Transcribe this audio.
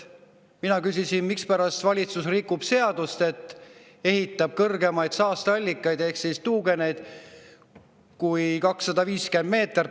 Mina küsisin, mispärast valitsus rikub seadust ja ehitab saasteallikaid ehk tuugeneid, mis on kõrgemad kui 250 meetrit.